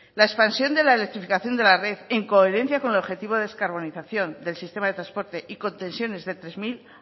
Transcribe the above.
la expansión de la electrificación de la red en coherencia con el objetivo de descarbonización del sistema de transporte y con tensiones de tres mil